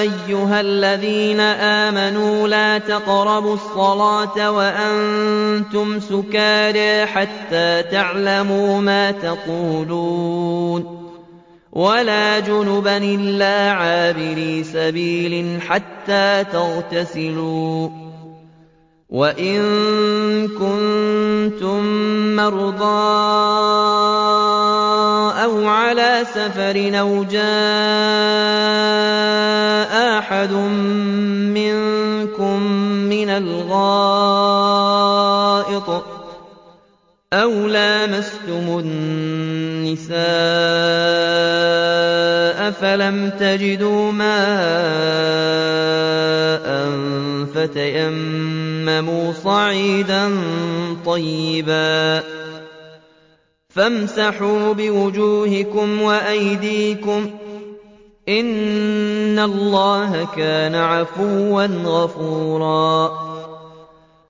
أَيُّهَا الَّذِينَ آمَنُوا لَا تَقْرَبُوا الصَّلَاةَ وَأَنتُمْ سُكَارَىٰ حَتَّىٰ تَعْلَمُوا مَا تَقُولُونَ وَلَا جُنُبًا إِلَّا عَابِرِي سَبِيلٍ حَتَّىٰ تَغْتَسِلُوا ۚ وَإِن كُنتُم مَّرْضَىٰ أَوْ عَلَىٰ سَفَرٍ أَوْ جَاءَ أَحَدٌ مِّنكُم مِّنَ الْغَائِطِ أَوْ لَامَسْتُمُ النِّسَاءَ فَلَمْ تَجِدُوا مَاءً فَتَيَمَّمُوا صَعِيدًا طَيِّبًا فَامْسَحُوا بِوُجُوهِكُمْ وَأَيْدِيكُمْ ۗ إِنَّ اللَّهَ كَانَ عَفُوًّا غَفُورًا